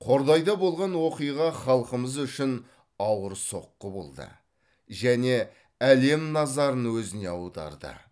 қордайда болған оқиға халқымыз үшін ауыр соққы болды және әлем назарын өзіне аударды